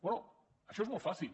bé això és molt fàcil